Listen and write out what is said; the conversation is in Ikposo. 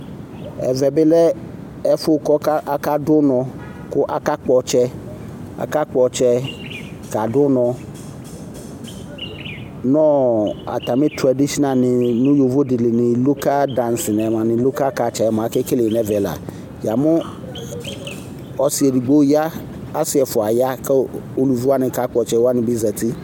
Ɛvɛ bɩ lɛ ɛfʋ kaka dʋnɔ kʋ akakpɔtsɛ kadʋnɔ nʋ atamɩ tsɔɛdisnal nʋ yovo dɩnɩ lɩ nʋ lʋka dancing lʋka katsɛ akele nɛvɛ la Yamʋ ɔsɩ edɩgbo ya asɩ ɛfʋa ya kʋ uluviwanɩ kakpɔ ɔtsɛwanɩ bɩ zati